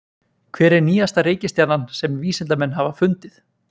Hver er nýjasta reikistjarnan sem vísindamenn hafa fundið?